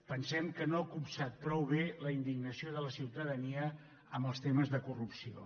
pensem que no ha copsat prou bé la indignació de la ciutadania amb els temes de corrupció